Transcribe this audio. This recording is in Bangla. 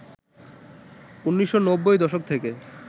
১৯৯০ দশক থেকে